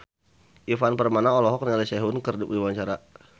Ivan Permana olohok ningali Sehun keur diwawancara